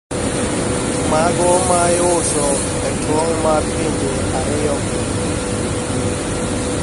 Mago ma iuso e trong` mar pinje ariyogi